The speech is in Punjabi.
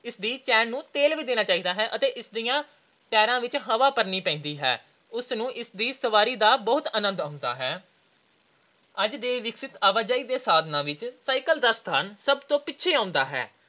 ਇਸ ਦੀ chain ਨੂੰ ਤੇਲ ਵੀ ਦੇਣਾ ਚਾਹੀਦਾ ਹੈ ਅਤੇ ਇਸ ਦੇ tires ਵਿੱਚ ਹਵਾ ਭਰਨੀ ਪੈਂਦੀ ਹੈ। ਉਸ ਨਾਲ ਇਸਦੀ ਸਵਾਰੀ ਦਾ ਬਹੁਤ ਆਨੰਦ ਆਉਂਦਾ ਹੈ। ਅੱਜ ਦੇ ਵਿਕਸਤ ਆਵਾਜਾਈ ਦੇ ਸਾਧਨਾਂ ਵਿੱਚ ਦਾ ਸਥਾਨ ਸਭ ਤੋਂ ਪਿੱਛੇੇ ਆਉਂਦਾ ਹੈ।